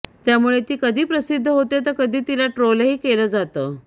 यामुळे ती कधी प्रसिद्ध होते तर कधी तिला ट्रोलही केलं जातं